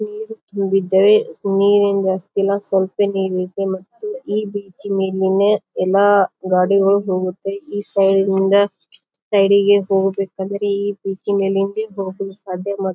ನೀರು ತುಂಬ್ಬಿದ್ದವೇ. ನೀರೇನ್ ಜಾಸ್ತಿ ಇಲ್ಲ. ಸ್ವಲ್ಪ ನೀರ ಇದೆ ಮತ್ತು ಈ ಬೀಚಿ ಮೇಲಿನ ಎಲ್ಲಾ ಗಾಡಿಗಳು ಹೋಗುತ್ತೆ. ಈ ಸೈಡ್ ನಿಂದ ಆ ಸೈಡಿಗೆ ಹೋಗಬೇಕಂದರೆ ಈ ಬೀಚ್ ಮೇಲಿಂದ ಹೋಗಿ ಸಾಧ್ಯ ಮತ್--